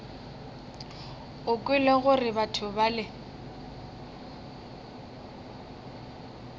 o kwele gore batho bale